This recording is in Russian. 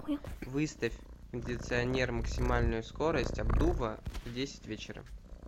выставь кондиционер максимальную скорость обдува в десять вечера